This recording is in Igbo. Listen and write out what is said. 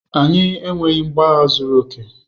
Anyị enweghị mgbọagha zuru oke.